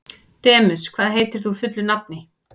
Demus, hvað heitir þú fullu nafni?